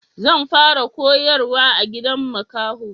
Zan fara koyarwa a gidan makaho